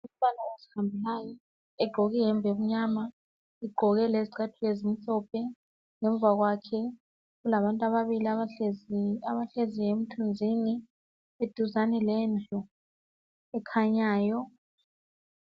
Umfana ozihambelayo Egqoke iyembe emnyama egqoke lezicathulo ezimhlophe ngemva kakhe kulabantu ababili abahleziyo emthunzini eduzane lendlu ekhanyayo